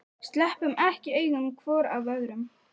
Sleppum ekki augum hvor af öðrum.